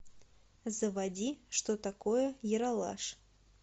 заводи что такое ералаш